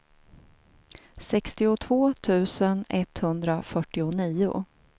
sextiotvå tusen etthundrafyrtionio